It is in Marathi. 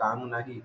काम नाही